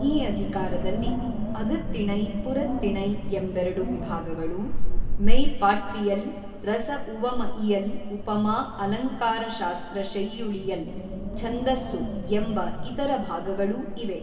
ಈ ಅಧಿಕಾರದಲ್ಲಿ ಅಗತ್ತಿಣೈ ಪುರತ್ತಿಣೈ ಎಂಬೆರಡು ವಿಭಾಗಗಳೂ ಮೆಯ್ ಪಾಟ್ವಿಯಲ್ ರಸ ಉವಮ ಇಯಲ್ ಉಪಮಾ ಅಲಂಕಾರಶಾಸ್ತ್ರ ಶೆಯ್ಯುಳಿಯಲ್ ಛಂದಸ್ಸು ಎಂಬ ಇತರ ಭಾಗಗಳೂ ಇವೆ.